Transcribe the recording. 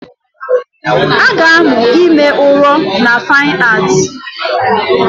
A ga-amụ ime ụrọ na Fine Art